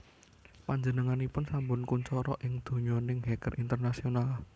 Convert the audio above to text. Panjenenganipun sampun kuncara ing donyaning hacker internasional